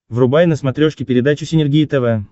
врубай на смотрешке передачу синергия тв